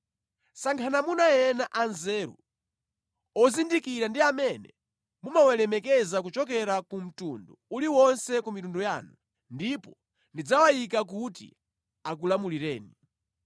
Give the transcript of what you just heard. Sankhani amuna ena anzeru, ozindikira ndi amene mumawalemekeza kuchokera ku mtundu uliwonse wa mitundu yanu, ndipo ndidzawayika kuti akulamulireni.”